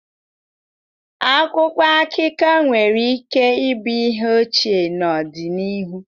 Akwụkwọ akụkọ nwere ike ịbụ ihe ochie n'ọdịnihu.